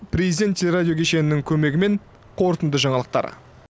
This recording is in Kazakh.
президент теле радио кешенінің көмегімен қорытынды жаңалықтар